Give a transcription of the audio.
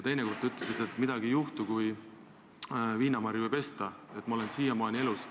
Teine kord te ütlesite, et midagi ei juhtu, kui viinamarju ei pesta, et te olete siiamaani elus.